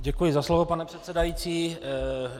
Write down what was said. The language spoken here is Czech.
Děkuji za slovo, pane předsedající.